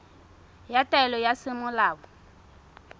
ya taelo ya semolao ya